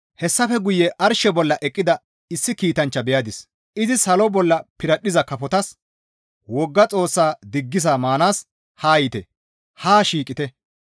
Hessafe guye arshe bolla eqqida issi kiitanchcha beyadis; izi salo bolla piradhdhiza kafotas, «Wogga Xoossaa diggisa maanaas haa yiite! Haa shiiqite!